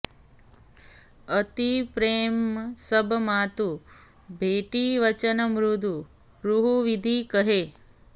अति प्रेम सब मातु भेटीं बचन मृदु बहुबिधि कहे